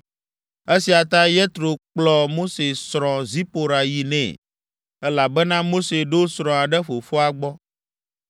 Esia ta Yetro kplɔ Mose srɔ̃ Zipora yi nɛ, elabena Mose ɖo srɔ̃a ɖe fofoa gbɔ.